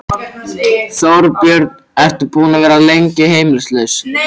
Þorbjörn: Ertu búinn að vera lengi heimilislaus?